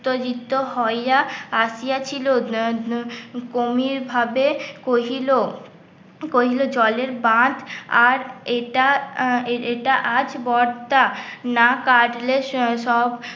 উত্তেজিত হইয়া, আসিয়া ছিল গভীরভাবে কহিল কহিল জলের বাঁধ আর এটা, এটা আজ না কাটলে সব